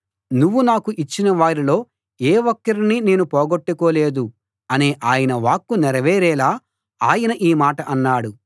నువ్వు నాకు ఇచ్చిన వారిలో ఏ ఒక్కరినీ నేను పోగొట్టుకోలేదు అనే ఆయన వాక్కు నెరవేరేలా ఆయన ఈ మాట అన్నాడు